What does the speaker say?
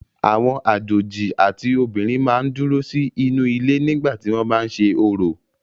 Àwọn àjòjì àti obìnrin máa ń dúró sí inú ilé nígbà tí wọ́n bá ń ṣe orò.